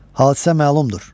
Hadisə məlumdur.